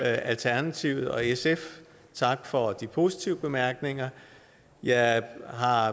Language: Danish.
alternativet og sf tak for de positive bemærkninger jeg har